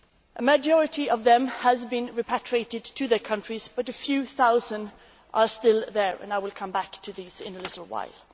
A majority of them have been repatriated to their countries but a few thousand are still there and I will come back to them in a little while.